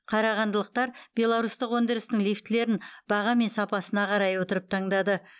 қарағандылықтар беларусьтық өндірістің лифтілерін баға мен сапасына қарай отырып таңдады